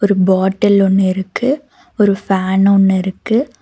ஒரு பாட்டில் ஒன்னு இருக்கு. ஒரு ஃபேன் ஒன்னு இருக்கு.